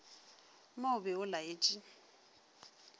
mo o be o laetše